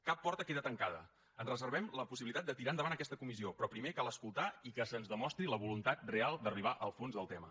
cap porta queda tancada ens reservem la possibilitat de tirar endavant aquesta comissió però primer cal escoltar i que se’ns demostri la voluntat real d’arribar al fons del tema